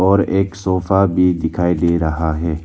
और एक सोफा भी दिखाई दे रहा है।